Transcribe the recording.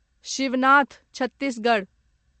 Shivnath Chhattisgarh